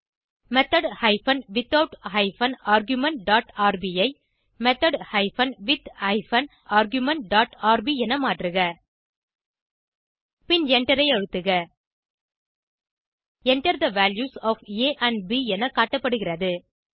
method hyphen without hyphen argument dot RB ஐ method hyphen with hyphen argument dot RB என மாற்றுக பின் எண்டரை அழுத்துக Enter the values of a and b என காட்டப்படுகிறது